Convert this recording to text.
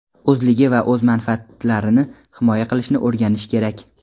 o‘zligi va o‘z manfaatlarini himoya qilishni o‘rganishi kerak.